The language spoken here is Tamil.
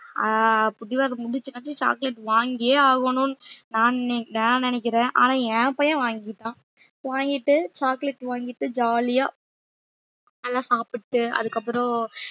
ஆஹ் பிடிவாதம் புடிச்சுநாச்சு chocolate வாங்கியே ஆகணும்ன்னு நான் நி~ நான் நினைக்கிறேன் ஆனா என் பையன் வாங்கிக்கிட்டான் வாங்கிட்டு chocolate வாங்கிட்டு jolly யா நல்லா சாப்பிட்டு அதுக்கப்புறம்